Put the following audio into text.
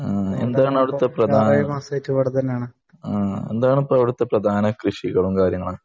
എന്താണ് അവിടുത്തെ പ്രധാന കൃഷിയും കാര്യങ്ങളും